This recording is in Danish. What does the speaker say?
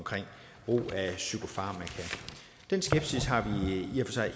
brug af psykofarmaka den skepsis har